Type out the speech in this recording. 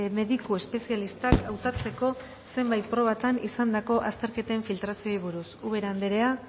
mediku espezialistak hautatzeko zenbait probatan izandako azterketen filtrazioei buruz ubera anderea